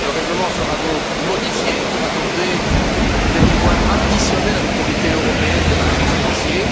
Le règlement sera donc modifié pour accorder des pouvoirs supplémentaires à l'Autorité européenne des marchés financiers.